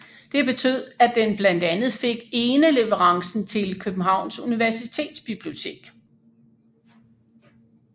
Det betød at den blandt andet fik eneleverancen til Københavns Universitetsbibliotek